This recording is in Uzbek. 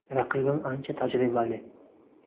Raqibim ancha tajribali.